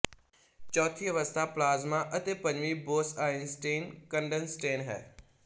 ਚੌਥੀ ਅਵਸਥਾ ਪਲਾਜ਼ਮਾ ਅਤੇ ਪੰਜਵੀਂ ਬੋਸਆਈਨਸਟੀਨ ਕੰਡਨਸੇਟ ਹੈ